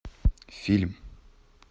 фильм